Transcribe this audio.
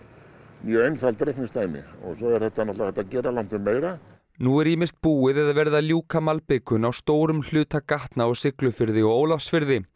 mjög einfalt reikningsdæmi og svo er hægt að gera langtum meira nú er ýmist búið eða verið að ljúka malbikun á stórum hluta gatna á Siglufirði og Ólafsfirði